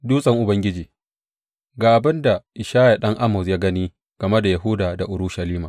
Dutsen Ubangiji Ga abin da Ishaya ɗan Amoz ya gani game da Yahuda da Urushalima.